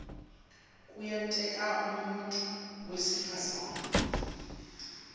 kuyenteka umuntfu wesifazane